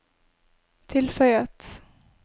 tilføyet